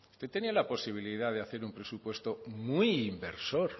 usted tenía la posibilidad de hacer un presupuesto muy inversor